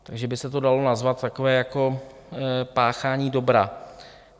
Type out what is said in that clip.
Takže by se to dalo nazvat takové jako páchání dobra.